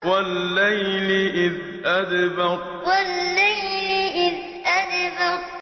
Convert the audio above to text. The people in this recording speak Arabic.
وَاللَّيْلِ إِذْ أَدْبَرَ وَاللَّيْلِ إِذْ أَدْبَرَ